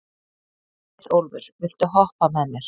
Leiðólfur, viltu hoppa með mér?